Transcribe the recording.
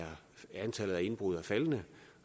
antallet af indbrud er faldende